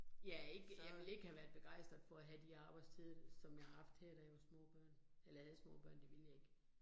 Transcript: Ja ikke, jeg ville ikke have være begejstret for at have de her arbejdstider, som jeg har haft her, da jeg var små børn, eller havde små børn, det ville jeg ikke